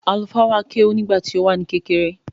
Àlùfáà wa kéwú nígbà tí ó wà ní kékeré.